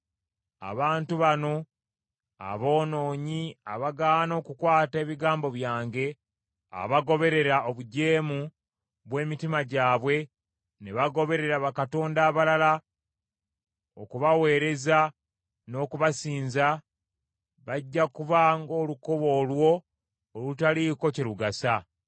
Abantu bano aboonoonyi abagaana okukwata ebigambo byange, abagoberera obujeemu bw’emitima gyabwe ne bagoberera bakatonda abalala okubaweereza n’okubasinza, bajja kuba ng’olukoba olwo olutaliiko kye lugasa.